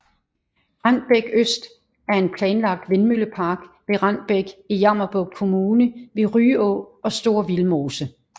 Rendbæk Øst er en planlagt vindmøllepark ved Rendbæk i Jammerbugt Kommune ved Ryå og Store Vildmose